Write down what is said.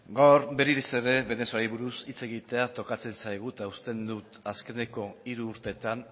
gaur berriz ere venezuelari buruz hitz egitea tokatzen zaigu eta uste dut azkeneko hiru urteetan